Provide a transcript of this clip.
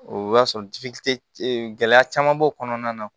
O b'a sɔrɔ gɛlɛya caman b'o kɔnɔna na